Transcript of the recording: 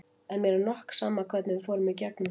En mér er nokk sama hvernig við fórum í gegnum þetta.